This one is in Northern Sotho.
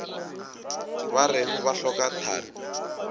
ba reng ba hloka thari